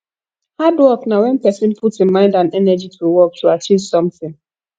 hard work na when persin put im mind and energy to work to achieve something